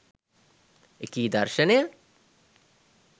එකී දර්ශනය